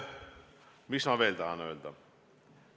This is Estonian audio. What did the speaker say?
Mis ma veel tahan öelda?